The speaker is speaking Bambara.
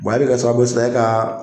e bɛ kɛ sababu ye sisan e ka